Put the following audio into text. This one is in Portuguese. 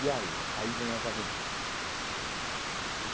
E aí, aí vêm as aventuras.